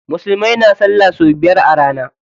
Musulmai na sallah sau biyar a rana